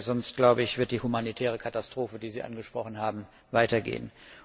Sonst wird die humanitäre Katastrophe, die Sie angesprochen haben, weitergehen.